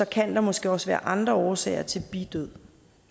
kan der måske også være andre årsager til bidød